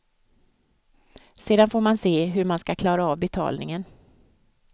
Sedan får man se hur man ska klara av betalningen.